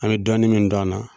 An bɛ dɔɔni min k'an na.